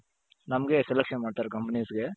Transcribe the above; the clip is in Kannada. ನಮ್ಗೆ selection ಮಾಡ್ತಾರೆ companiesಗೆ.